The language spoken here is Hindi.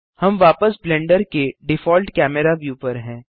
हम वापस ब्लेंडर के डिफॉल्ट कैमेरा व्यू पर हैं